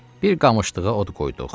Bir qamışlığa od qoyduq.